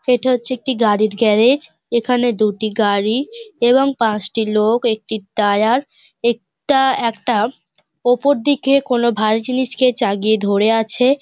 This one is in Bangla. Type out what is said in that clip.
এটা হচ্ছে একটি গাড়ির গ্যারেজ । এখানে দুটি গাড়ি এবং পাঁচটি লোক একটি টায়ার এটা একটা ওপর দিকে কোনো ভারী জিনিসকে চাগিয়ে ধরে আছে।